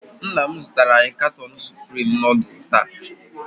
Nna m zụtara anyị katon supreme nudul taa.